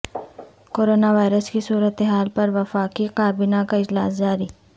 corona virus کی صورتحال پر وفاقی کابینہ کا اجلاس جاری